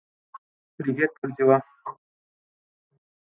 привет как дела